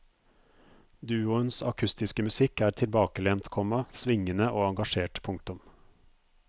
Duoens akustiske musikk er tilbakelent, komma svingende og engasjert. punktum